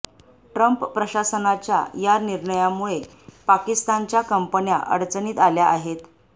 Trump प्रशासनाच्या या निर्णयामुळे पाकिस्तानच्या कंपन्या अडचणीत आल्या आहेत